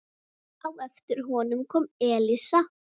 Á eftir honum kom Elísa.